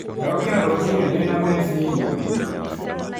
Ndokĩra rũcinĩ ndĩ na meciria maingĩ.